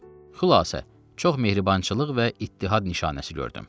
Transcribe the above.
Xülasə, çox mehribançılıq və ittihad nişanəsi gördüm.